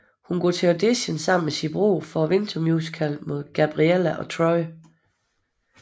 Hun går til audition sammen med sin bror for vintermusicalen mod Gabriella og Troy